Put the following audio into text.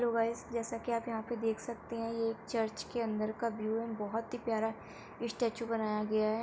लो guys जैसा की आप यहां पे देख सकते हैं ये एक चर्च के अंदर का व्यू है। बोहोत ही प्यारा इस्टेच्यू बनाया गया है।